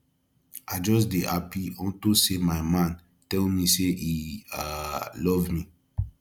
i just dey happy unto say my man tell me say he um love me